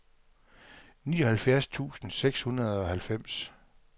nioghalvfjerds tusind seks hundrede og halvfems